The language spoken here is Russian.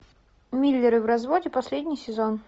миллеры в разводе последний сезон